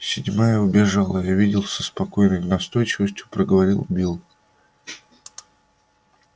седьмая убежала я видел со спокойной настойчивостью проговорил билл